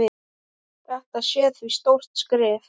Þetta sé því stórt skref.